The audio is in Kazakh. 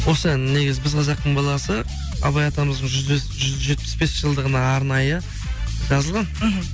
осы ән негізі біз қазақтың баласы абай атамыздың жүз жетпіс бес жылдығына арнайы жазылған мхм